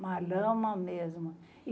Uma lama mesmo.